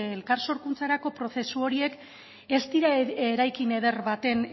elkar sorkuntzarako prozesu horiek ez dira eraikin eder baten